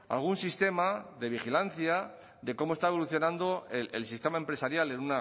algún sistema de vigilancia de cómo está evolucionando el sistema empresarial en